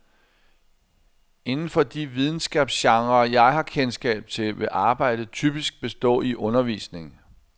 Inden for de videnskabsgenrer, jeg har kendskab til, vil arbejdet typisk bestå i undervisning.